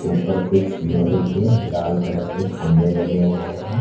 ऊपर कुछ लोहे के लाल कलर के खंभे लगे हुए हैं।